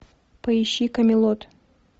поищи камелот